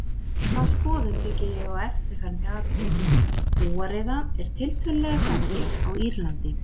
Þá skoðun byggi ég á eftirfarandi atriðum: Kúariða er tiltölulega sjaldgæf á Írlandi.